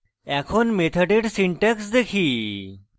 এখন মেথডের syntax দেখি